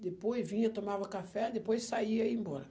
Depois vinha, tomava café, depois saía e ia embora.